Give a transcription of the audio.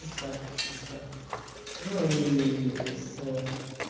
и так чисто ну и с